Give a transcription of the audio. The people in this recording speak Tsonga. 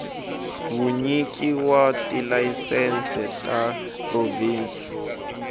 vunyiki wa tilayisense ta provhinsi